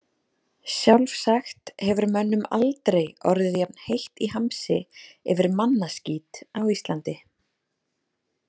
Sjálfsagt hefur mönnum aldrei orðið jafn heitt í hamsi yfir mannaskít á Íslandi.